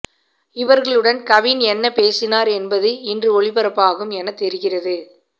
இவர்களுடன் கவின் என்ன பேசினார் என்பது இன்று ஒளிபரப்பாகும் என தெரிகிறது